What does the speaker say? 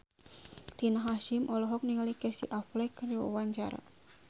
Rina Hasyim olohok ningali Casey Affleck keur diwawancara